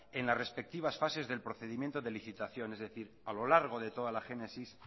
en la respectivas fases del procedimiento de licitación es decir a lo largo de toda la génesis